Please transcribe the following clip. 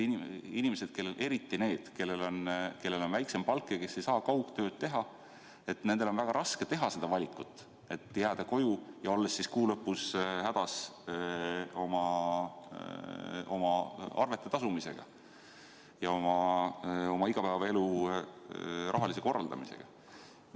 Inimestel, eriti nendel, kellel on väiksem palk ja kes ei saa kaugtööd teha, on väga raske otustada jääda koju ja olla kuu lõpus hädas oma arvete tasumisega, ja oma igapäevaelu rahalise korraldamisega.